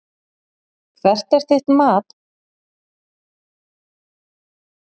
Hvert er þitt mat á stigasöfnun Fram í sumar?